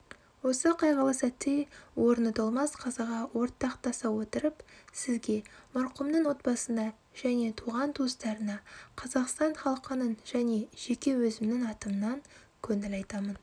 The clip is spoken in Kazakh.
осы қайғылы сәтте орны толмас қазаға ортақтаса отырып сізге марқұмның отбасына және туған-туыстарына қазақстан халқының және жеке өзімнің атымнан көңіл айтамын